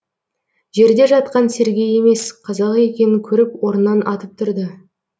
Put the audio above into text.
жерде жатқан сергей емес қазақ екенін көріп орнынан атып тұрды